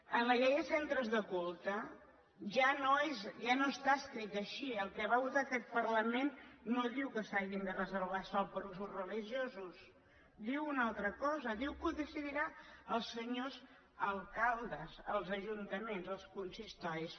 amb la llei de centres de culte ja no està escrit així el que va votar aquest parlament no diu que s’hagi de reservar sòl per a usos religiosos diu una altra cosa diu que ho decidiran els senyors alcaldes els ajuntaments els consistoris